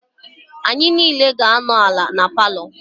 Anyị niile ga-anọ ala na palọ.